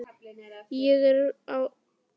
Ég er á lífi núna.